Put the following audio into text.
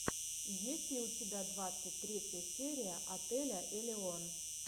есть ли у тебя двадцать третья серия отеля элион